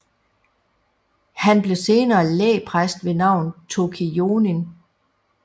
Han blev senere lægpræst ved navn Toki Jonin